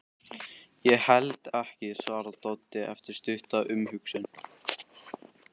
Ég held ekki, svarar Doddi eftir stutta umhugsun.